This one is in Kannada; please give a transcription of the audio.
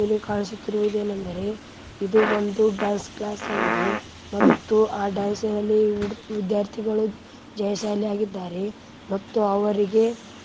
ಇಲ್ಲಿ ಕಾಣಿಸುತ್ತಿರುವುದೇನೆಂದರೆ ಇದು ಒಂದು ಡ್ಯಾನ್ಸ್‌ ಕ್ಲಾಸ್‌ ಆಗಿದೆ ಮತ್ತು ಆ ಡ್ಯಾನ್ಸಿನಲ್ಲಿ ವಿದ್ಯಾರ್ಥಿಗಳು ಜಯಶಾಲಿ ಆಗಿದ್ದಾರೆ ಮತ್ತು ಅವರಿಗೆ--